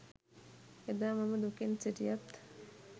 එදා මම දුකෙන් සිටියත්